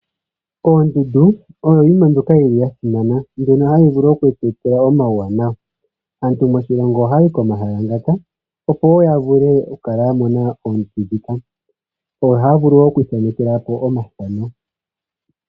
Oondundu oyo yimwe ndjoka yili ya simana ndjono ya longelwa okutypa omauwanawa aatu moshilongo ohaa y9 komahala ngaka yo ohaya vulu wo okwiithanekela po opo ya mone oshimaliwa.